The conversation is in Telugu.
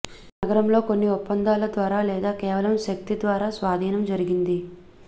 నగరంలో కొన్ని ఒప్పందాల ద్వారా లేదా కేవలం శక్తి ద్వారా స్వాధీనం జరిగింది